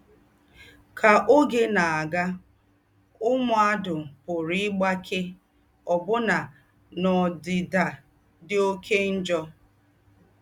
Ká ógé nà-àgà, m̀mùàdù pùrù ígbáké òbù̀nà n’ódìdà dí óké njọ́.